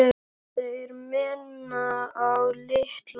Þeir minna á Litla og